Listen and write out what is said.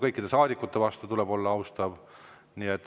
Kõikide saadikute vastu tuleb olla austav.